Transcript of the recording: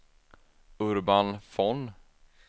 Urban Von